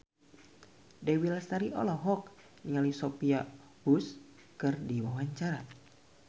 Dewi Lestari olohok ningali Sophia Bush keur diwawancara